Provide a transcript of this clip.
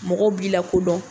Mɔgɔ b'i la kodɔn